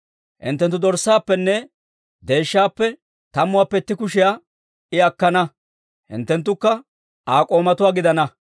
Hinttenttu dorssaappenne deeshshaappe tammuwaappe itti kushiyaa I akkana; hinttenttukka Aa k'oomatuwaa gidana.